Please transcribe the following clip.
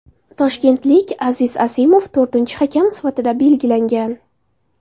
Toshkentlik Aziz Asimov to‘rtinchi hakam sifatida belgilangan.